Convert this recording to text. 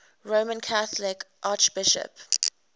roman catholic archbishops